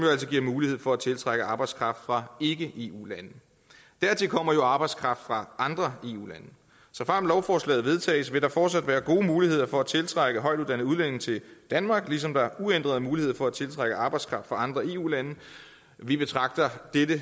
giver mulighed for at tiltrække arbejdskraft fra ikke eu lande dertil kommer arbejdskraft fra andre eu lande såfremt lovforslaget vedtages vil der fortsat være gode muligheder for at tiltrække højtuddannede udlændinge til danmark ligesom der er uændrede muligheder for at tiltrække arbejdskraft fra andre eu lande vi betragter dette